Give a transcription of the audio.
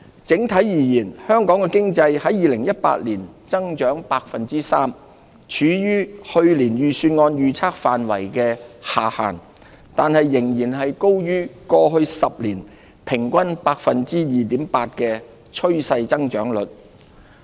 整體而言，香港經濟在2018年增長 3%， 處於去年預算案預測範圍的下限，但仍然高於過往10年平均 2.8% 的趨勢增長率。